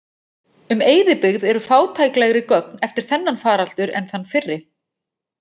Um eyðibyggð eru fátæklegri gögn eftir þennan faraldur en þann fyrri.